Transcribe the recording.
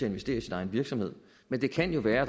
investere i sin egen virksomhed men det kan jo være